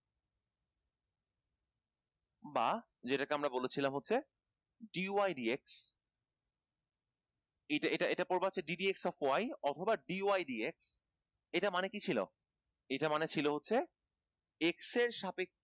বা যেটা কে আমরা বলেছিলাম হচ্ছে dydx এটা এটা পর্ব হচ্ছে gdp of y অথবা dydx এটা মানে কি ছিল? এটা মানে ছিল হচ্ছে x এর সাপেক্ষে